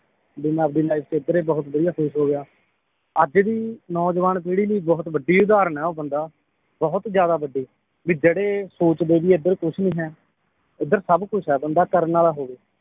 B ਮੈ ਆਪਣੀ life ਅੱਜ ਦੀ ਨੌਜਵਾਨ ਪੀੜੀ ਲਈ ਬਹੁਤ ਵੱਡੀ ਉਦਾਹਰਣ ਏ ਉਹ ਬੰਦਾ ਬਹੁਤ ਜ਼ਿਆਦਾ ਵੱਡੀ ਵੀ ਜਿਹੜੇ ਸੋਚਦੇ ਬੀ ਏਧਰ ਕੁਛ ਨੀ ਹੈ ਏਧਰ ਸਬ ਕੁਛ ਏ ਬੰਦਾ ਕਰਨ ਵਾਲਾ ਹੋਵੇ